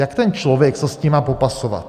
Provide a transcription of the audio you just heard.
Jak ten člověk se s tím má popasovat?